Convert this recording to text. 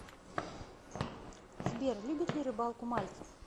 сбер любит ли рыбалку мальцев